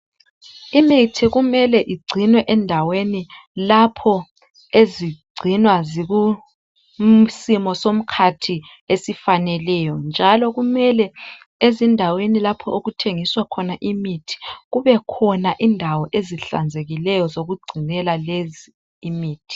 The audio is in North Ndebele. Imithi kumele igcinwe endaweni lapho ezigcinwa zikusimo somkhathi esifaneleyo njalo kumele ezindaweni lapho okuthengiswa khona imithi kubekhona indawo ezihlanzekileyo zokugcinela lezi imithi.